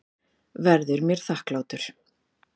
Verður mér þakklátur.